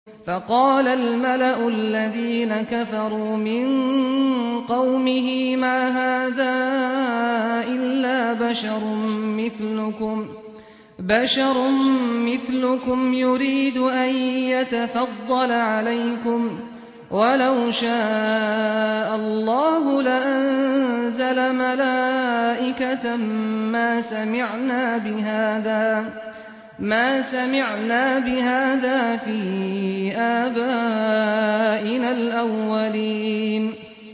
فَقَالَ الْمَلَأُ الَّذِينَ كَفَرُوا مِن قَوْمِهِ مَا هَٰذَا إِلَّا بَشَرٌ مِّثْلُكُمْ يُرِيدُ أَن يَتَفَضَّلَ عَلَيْكُمْ وَلَوْ شَاءَ اللَّهُ لَأَنزَلَ مَلَائِكَةً مَّا سَمِعْنَا بِهَٰذَا فِي آبَائِنَا الْأَوَّلِينَ